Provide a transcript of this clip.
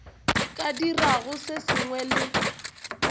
ka dirago se sengwe le